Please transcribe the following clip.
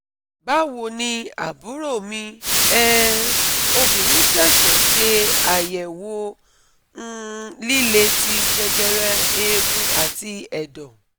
Bawoni aburo mi um obinrin sese se ayewo um lile ti jejere eegun ati edo